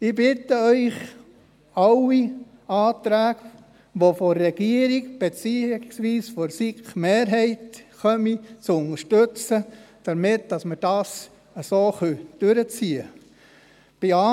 Ich bitte Sie, alle Anträge, die von der Regierung, beziehungsweise von der SiK-Mehrheit kommen, zu unterstützen, damit wir das so durchziehen können.